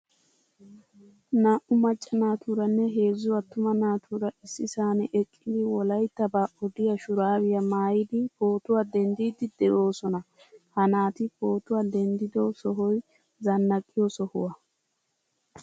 Naa"u maccaa naaturaanne heezzu attuma naatura issisan eqqidi wolayttaba odiyaa shuraabiyaa maayidi pootuwa denddidi deosona. Ha naati pootuwaa denddido sohoy zannaqiyo sohuwa.